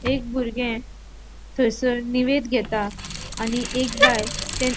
एक बुरगे थंयसर निवेद घेता आणि एक बायल --